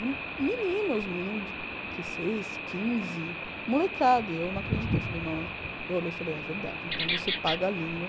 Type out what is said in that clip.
E meninos, meninos de dezesseis, quinze, molecada, e eu não acreditei, eu falei no eu olhei e falei, é verdade, então você paga a língua.